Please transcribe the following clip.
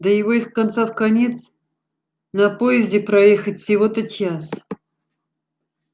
да его из конца в конец на поезде проехать всего-то час